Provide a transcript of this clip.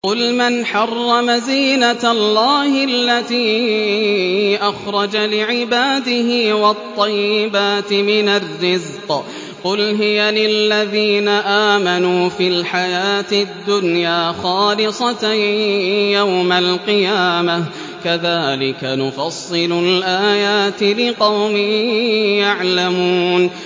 قُلْ مَنْ حَرَّمَ زِينَةَ اللَّهِ الَّتِي أَخْرَجَ لِعِبَادِهِ وَالطَّيِّبَاتِ مِنَ الرِّزْقِ ۚ قُلْ هِيَ لِلَّذِينَ آمَنُوا فِي الْحَيَاةِ الدُّنْيَا خَالِصَةً يَوْمَ الْقِيَامَةِ ۗ كَذَٰلِكَ نُفَصِّلُ الْآيَاتِ لِقَوْمٍ يَعْلَمُونَ